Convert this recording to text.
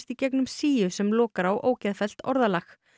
í gegnum síu sem lokar á ógeðfellt orðalag